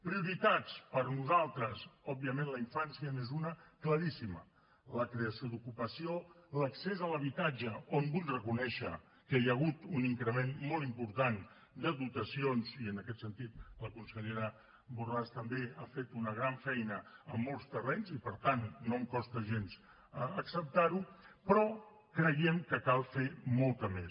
prioritats per nosaltres òbviament la infància n’és una claríssima la creació d’ocupació l’accés a l’habitatge on vull reconèixer que hi ha hagut un increment molt important de dotacions i en aquest sentit la consellera borràs també ha fet una gran feina en molts terrenys i per tant no em costa gens acceptar ho però creiem que cal fer ne molta més